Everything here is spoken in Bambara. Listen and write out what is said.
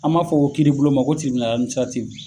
An b'a fɔ ko kiiri bulon ma ko